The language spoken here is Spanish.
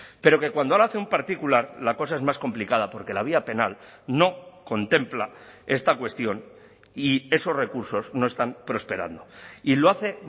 pero que cuando lo hace un particular la cosa es más complicada porque la vía penal no contempla esta cuestión y esos recursos no están prosperando y lo hace